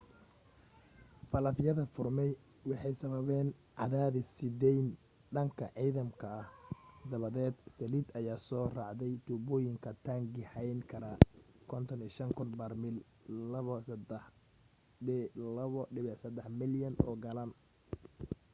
faalafyada furmay waxay sababeen cadaadis sii deyn dhanka nidaamka ah dabadeed saliid ayaa soo raacday tuubooyinka taangi hayn kara 55,000 barmiil 2.3 malyan oo galaan